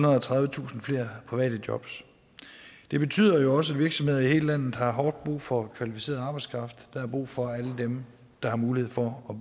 og tredivetusind flere private jobs det betyder jo også at virksomheder i hele landet har hårdt brug for kvalificeret arbejdskraft der er brug for alle dem der har mulighed for at